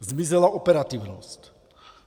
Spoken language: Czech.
Zmizela operativnost.